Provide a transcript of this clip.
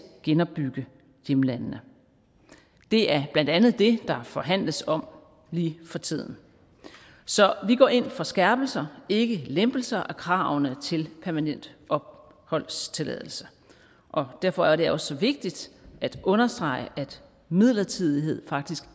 genopbygge hjemlandene det er blandt andet det der forhandles om lige for tiden så vi går ind for skærpelser ikke lempelser af kravene til permanent opholdstilladelse derfor er det også så vigtigt at understrege at midlertidighed faktisk